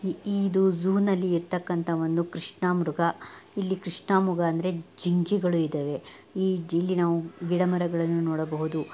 ಇ-ಇದು zoo ನಲ್ಲಿ ಇರ್ತಕಂತ ಒಂದು ಕೃಷ್ಣಮೃಗ ಇಲ್ಲಿ ಕ್ರಿಷ್ಣಮೃಗ ಅಂದ್ರೆ ಜಿಂಕೆಗಳು ಇದವೆ ಇಲ್ಲಿ ನಾವು ಗಿಡ ಮರಗಳನ್ನೂ ನೋಡಬಹುದು.